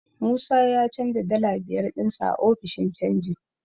Musa ya canja dala biyar ɗinsa a ofishin canji.